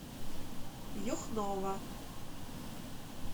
юхнова